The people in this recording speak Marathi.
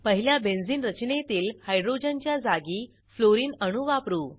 पहिल्या बेंझिन रचनेतील हायड्रोजन च्या जागी फ्लोरीन अणू वापरू